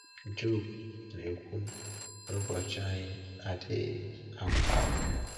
Job na-ekwu na ụbọchị anyị adịghị agwụ agwụ.